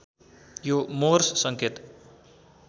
यो मोर्स सङ्केत